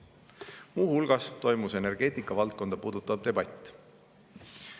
Muu hulgas toimus energeetikavaldkonda puudutav debatt.